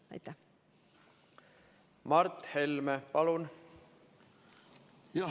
Mart Helme, palun!